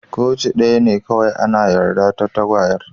Koci daya ne kowai ana yarda a'tagawar.